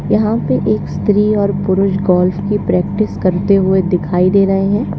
यहां पर एक स्त्री और पुरुष गौल्फ की प्रैक्टिस करते हुए दिखाई दे रहे हैं।